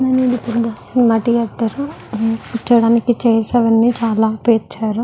ఇది ఒక cinema theatre . కూర్చోడానికి చైర్స్ అవి చాలా పర్చారు.